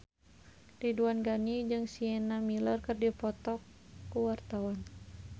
Ridwan Ghani jeung Sienna Miller keur dipoto ku wartawan